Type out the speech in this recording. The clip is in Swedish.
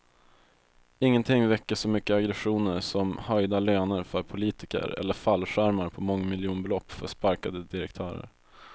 Ingenting väcker så mycket aggressioner som höjda löner för politiker eller fallskärmar på mångmiljonbelopp för sparkade direktörer.